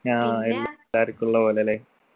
ആ എല്ല തെരക്കുള്ള പോലെ ലെ